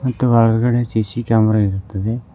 ಮತ್ತು ಒಳ್ಗಡೆ CC camera ಇರುತ್ತದೆ.